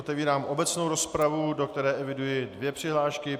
Otevírám obecnou rozpravu, do které eviduji dvě přihlášky.